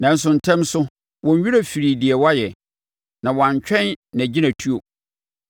Nanso, ntɛm so, wɔn werɛ firii deɛ wayɛ na wɔantwɛn nʼagyinatuo.